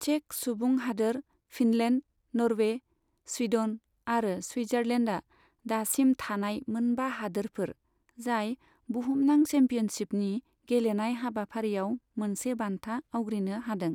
Check सुबुं हादोर, Finland, Norway, Sweden आरो स्विटजारलेण्डआ दासिम थानाय मोनबा हादोरफोर, जाय बुहुमनां चेम्पियनशिपनि गेलेनाय हाबाफारियाव मोनसे बान्था आवग्रिनो हादों।